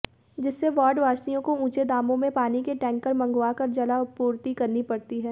जिससे वार्डवासियों को ऊंचे दामो में पानी के टैंकर मंगवाकर जलापूर्ति करनी पड़ती है